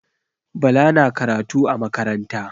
Bala na karatu a makaranta.